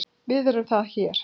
VIÐ ERUM ÞAR HÉR